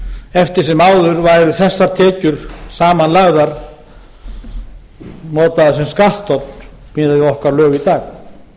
eftir sem áður væru þessar tekjur saman lagðar notaðar sem skattstofn miðað við okkar lög